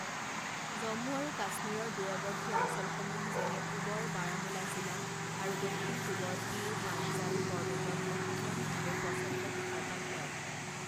জম্মু আৰু কাশ্মীৰৰ দূৰৱৰ্তী অঞ্চলসমূহ যেনে পূবৰ বাৰামুলা জিলা আৰু দক্ষিণ পূবৰ পীৰ পাঞ্জাল পৰ্বতত অসাধাৰণ ভাৱে প্ৰচণ্ড তুষাৰপাত হয়।